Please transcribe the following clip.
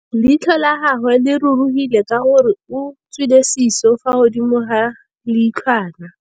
Leitlhô la gagwe le rurugile ka gore o tswile sisô fa godimo ga leitlhwana.